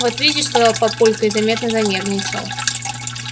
вот видишь сказал папулька и заметно занервничал